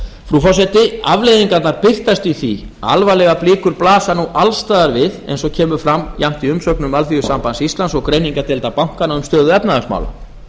frú forseti afleiðingarnar birtast í því alvarlegar blikur blasa nú alls staðar við eins og kemur fram jafnt í umsögnum alþýðusambands íslands og greiningardeildar bankanna um stöðu efnahagsmála